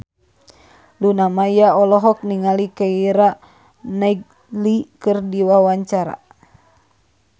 Luna Maya olohok ningali Keira Knightley keur diwawancara